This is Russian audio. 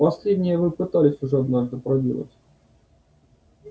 последнее вы уже пытались однажды проделать